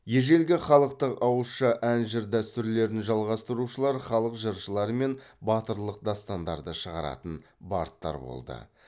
ежелгі халықтық ауызша ән жыр дәстүрлерін жалғастырушылар халық жыршылары мен батырлық дастандарды шығаратын бардтар болды